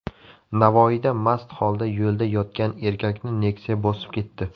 Navoiyda mast holda yo‘lda yotgan erkakni Nexia bosib ketdi.